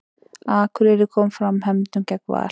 Akureyri kom fram hefndum gegn Val